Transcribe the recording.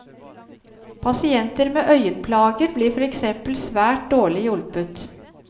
Pasienter med øyenplager blir for eksempel svært dårlig hjulpet.